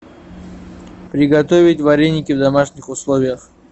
приготовить вареники в домашних условиях